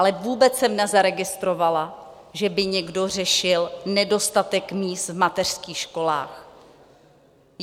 Ale vůbec jsem nezaregistrovala, že by někdo řešil nedostatek míst v mateřských školách.